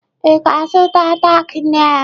Ị ga-azụta tack nail!